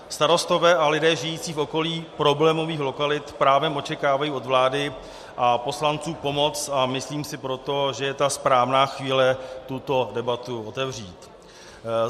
Starostové a lidé žijící v okolí problémových lokalit právem očekávají od vlády a poslanců pomoc, a myslím si proto, že je ta správná chvíle tuto debatu otevřít.